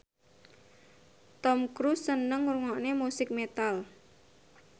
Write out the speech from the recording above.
Tom Cruise seneng ngrungokne musik metal